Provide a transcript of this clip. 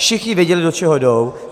Všichni věděli, do čeho jdou.